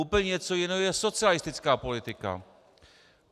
Úplně něco jiného je socialistická politika.